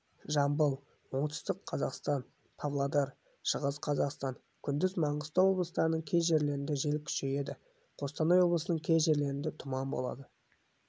жамбыл оңтүстік қазақстан павлодар шығыс қазақстан күндіз маңғыстау облыстарының кей жерлерінде жел күшейеді қостанай облысының кей жерлерінде тұман болады